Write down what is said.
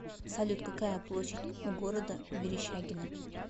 салют какая площадь у города верещагино